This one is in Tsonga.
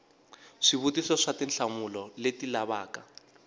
swivutiso swa tinhlamulo leti lavaka